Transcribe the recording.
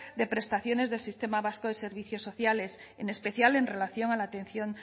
de prestaciones del sistema vasco de servicios sociales en especial en relación a la atención